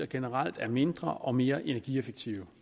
generelt mindre og mere energieffektive